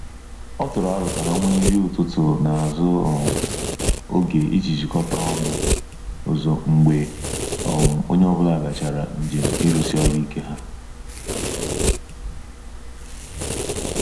Ọ tụrụ arọ ka ha nwee nri ụtụtụ na azu um oge ijii jikota ọnụ ozo mgbe um onye ọbula gachara njem irusi ọrụ ike ha.